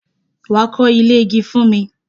Wà á kọ́ ilé igi fún mi!